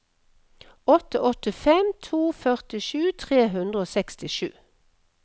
åtte åtte fem to førtisju tre hundre og sekstisju